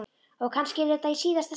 Og kannski yrði þetta í síðasta sinn.